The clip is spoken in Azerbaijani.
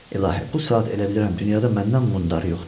İlahi, bu saat elə bilirəm dünyada məndən mundarı yoxdur.